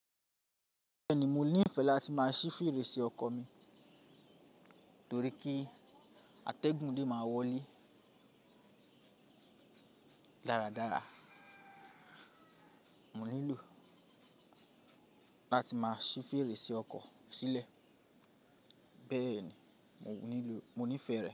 Bẹ́ẹ̀ni, mo ní ìfẹ́ láti máa ṣí fèrèsé ọkọ́ mi torí kí atẹ́gùn lè máa wọlé dáradára. Mo nílò láti máa ṣí fèrèsé ọkọ̀ sílẹ̀. Bẹ́ẹ̀ni, mo ní ìfẹ́ rẹ̀